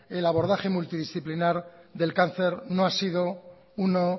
el abordaje multidisciplinar del cáncer no ha sido una